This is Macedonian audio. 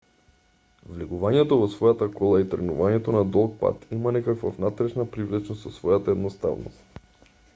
влегувањето во својата кола и тргнувањето на долг пат има некаква внатрешна привлечност со својата едноставност